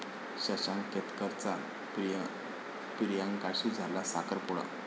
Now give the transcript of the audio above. शशांक केतकरचा प्रियांकाशी झाला साखरपुडा